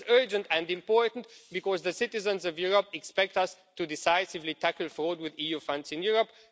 This is urgent and important because the citizens of Europe expect us to decisively move forward with EU funds in Europe.